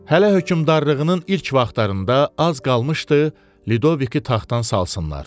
Hələ hökmdarlığının ilk vaxtlarında az qalmışdı Ludoviki taxtdan salsınlar.